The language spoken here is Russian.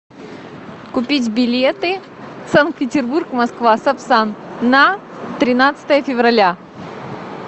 купить билеты санкт петербург москва сапсан на тринадцатое февраля